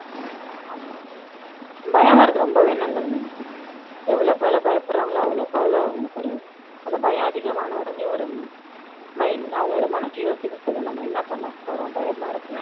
பயம் வர்றது ரொம்பவே நல்லது நந்தினி எவ்வளவு பேரு பயப்படுறாங்களோ அவ்வளோ கவலை அவங்களுக்கு ஒரு அந்த பயம் அதிகமான உடனே ஒரு mind அவங்களோட மனசு யோசிக்க சொல்லும் நம்ம என்ன பண்ண போறோம் பயமா இருக்கே